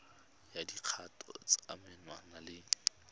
ya dikgatiso tsa menwana le